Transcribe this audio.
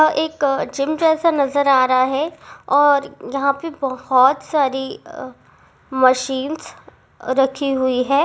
और एक जिम जैसा नजर आ रहा है और यहाँ पे बहुत सारी मशीन रखी हुई है।